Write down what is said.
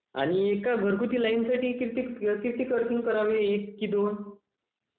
आणि एका घरगुती लाइनसाठी किती अर्थिंग करावी एक की दोन